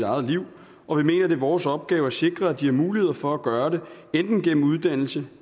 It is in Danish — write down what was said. eget liv og vi mener det er vores opgave at sikre at de har mulighed for at gøre det enten gennem uddannelse